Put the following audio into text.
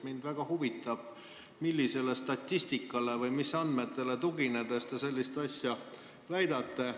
Mind väga huvitab, millisele statistikale või mis andmetele tuginedes te sellist asja väidate.